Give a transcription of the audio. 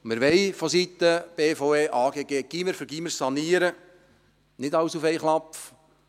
Vonseiten BVE und AGG wollen wir Gymnasium für Gymnasium sanieren, nicht alles auf einmal.